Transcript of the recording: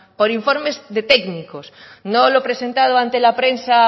por informes de técnicos no lo presentado ante la prensa